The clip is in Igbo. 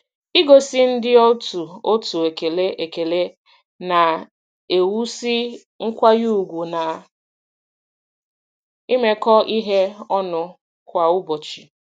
Igosi ndị otu otu ekele ekele na-ewusi nkwanye ugwu na imekọ ihe ọnụ kwa ụbọchị.